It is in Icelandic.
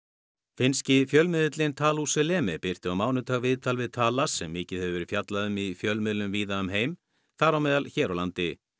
finnski fjölmiðilinn birti á mánudag viðtal við Taalas sem mikið hefur verið fjallað um í fjölmiðlum víða um heim þar á meðal hér á landi